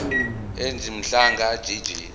ej mhlanga jj